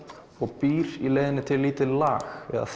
og býr í leiðinni til lítið lag eða